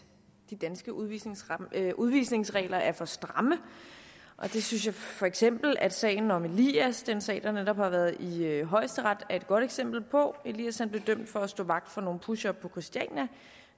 danske udvisningsregler udvisningsregler er for stramme det synes jeg for eksempel at sagen om elias den sag der netop har været i højesteret er et godt eksempel på elias blev dømt for at stå vagt for nogle pushere på christiania